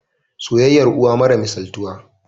soyayyar uwa mara misaltuwa